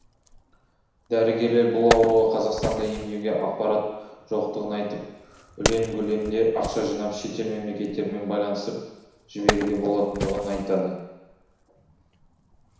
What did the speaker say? дәрігерлер бұл ауруға қазақстанда емдеуге аппарат жоқтығын айтып улен көлемде ақша жинап шетел мемлекеттерімен байланысып жіберуге болатындығын айтады